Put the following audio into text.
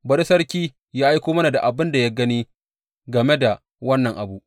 Bari sarki yă aiko mana da abin da ya gani game da wannan abu.